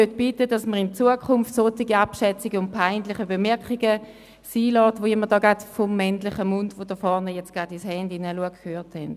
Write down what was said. Ich bitte darum, solche abschätzigen und peinlichen Bemerkungen in Zukunft bleiben zu lassen, wie sie vorhin aus einem männlichen Mund geäussert wurden, dessen Besitzer jetzt gerade aufs Handy schaut.